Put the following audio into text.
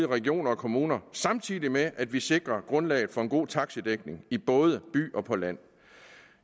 regioner og kommuner samtidig med at vi sikrer grundlaget for en god taxidækning i både byerne og på landet